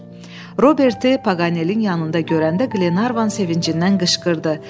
Roberti Paganelin yanında görəndə Glenarvan sevincindən qışqırdı.